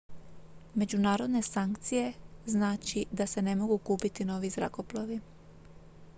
međunarodne sankcije znači da se ne mogu kupiti novi zrakoplovi